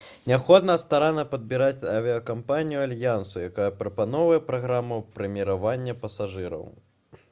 неабходна старанна падбіраць авіякампанію альянсу якая прапаноўвае праграму прэміравання пасажыраў